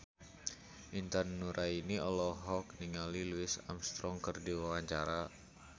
Intan Nuraini olohok ningali Louis Armstrong keur diwawancara